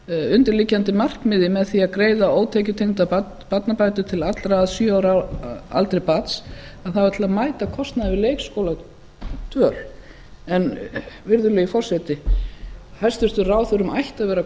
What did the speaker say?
undirliggjandi markmiðið með því að greiða ótekjutengdar barnabætur til allra að sjö ára aldri barns það var til að mæta kostnaði við leikskóladvöl en virðulegi forseti hæstvirtum ráðherrum ætti að vera